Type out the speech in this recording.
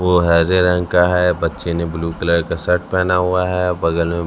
वो हरे रंग का है बच्चे ने ब्ल्यू कलर का शर्ट पहना हुआ है बगल में--